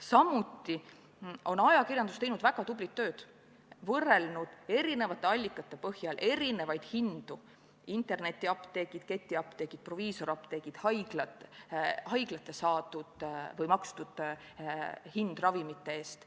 Samuti on ajakirjandus teinud väga tublit tööd ja võrrelnud erinevate allikate põhjal erinevaid hindu: internetiapteegid, ketiapteegid, proviisoriapteegid, haiglate makstud hinnad ravimite eest.